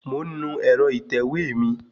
Mò ń nu ẹ̀rọ ìtẹ̀wé mi